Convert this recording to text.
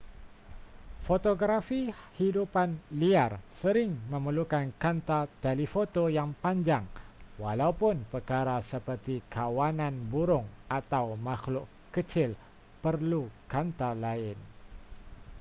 fotografi hidupan liar sering memerlukan kanta telefoto yang panjang walaupun perkara seperti kawanan burung atau makhluk kecil perlu kanta lain